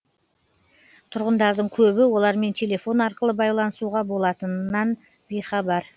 тұрғындардың көбі олармен телефон арқылы байланысуға болатынынан бейхабар